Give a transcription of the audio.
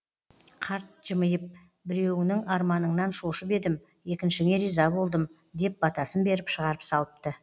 қарт жымиып біреуіңнің арманыңнан шошып едім екіншіңе риза болдым деп батасын беріп шығарып салыпты